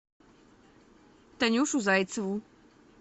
танюшу зайцеву